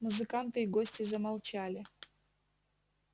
музыканты и гости замолчали